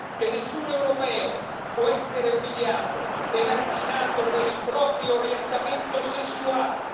che nessun europeo può essere umiliato o emarginato per il proprio orientamento sessuale